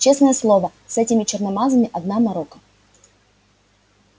честное слово с этими черномазыми одна морока